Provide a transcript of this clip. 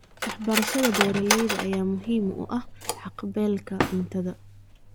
Waxbarashada beeralayda ayaa muhiim u ah haqab-beelka cuntada.